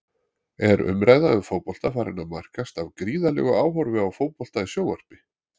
Er umræða um fótbolta farin að markast af gríðarlegu áhorfi á fótbolta í sjónvarpi?